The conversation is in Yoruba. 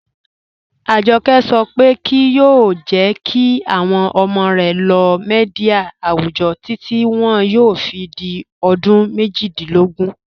Ajọkẹ sọ pe kíí yoo jẹ́ kí awọn ọmọ rẹ lóò míḍíà awùjọ́ títi wọn yóò fi di ọdún mẹ́jìdílógún